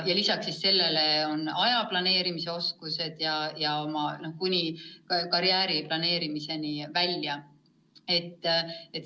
Lisaks sellele tuleb lapsel omandada aja planeerimise oskus ja nii edasi kuni oma karjääri planeerimiseni välja.